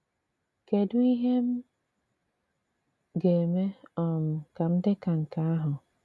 Kédù ìhè m ga-eme um ka m m dị ka nke ahụ?